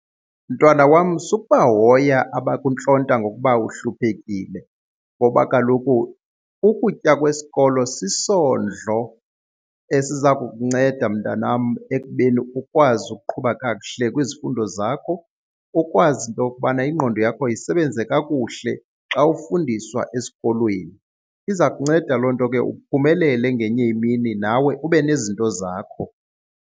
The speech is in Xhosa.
Mntwana wam, sukubahoya abakuntlonta ngokuba uhluphekile ngoba kaloku ukutya kwesikolo sisondlo esiza kukunceda mntanam ekubeni ukwazi ukuqhuba kakuhle kwizifundo zakho ukwazi into yokubana ingqondo yakho isebenze kakuhle xa ufundiswa esikolweni. Iza kunceda loo nto ke uphumelele ngenye imini nawe ube nezinto zakho.